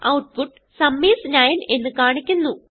output sum is 9 എന്ന് കാണിക്കുന്നു